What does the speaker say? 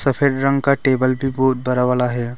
Perfect round का table भी बहुत बड़ा वाला है।